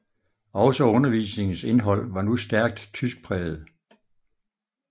Også undervisningens indhold var nu stærkt tyskpræget